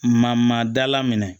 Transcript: Ma ma dala minɛ